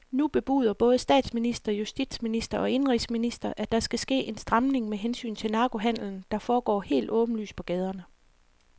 Nu bebuder både statsminister, justitsminister og indenrigsminister, at der skal ske en stramning med hensyn til narkohandelen, der foregår helt åbenlyst på gaderne.